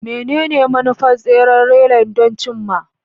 Menene manufar tseren relay don cim ma?